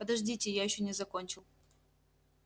подождите я ещё не закончил